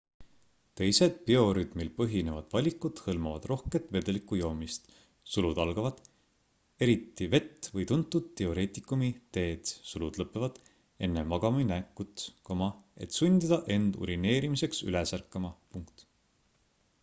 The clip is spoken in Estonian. teised biorütmil põhinevad valikud hõlmavad rohket vedeliku joomist eriti vett või tuntud diureetikumi teed enne magamaminekut et sundida end urineerimiseks üles ärkama